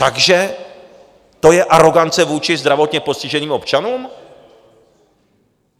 Takže to je arogance vůči zdravotně postiženým občanům?